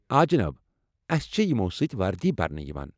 آ جِناب ، اسہِ چھےٚ یمو٘ سۭتۍ وردی برنہٕ یوان۔